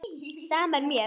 Sama er mér.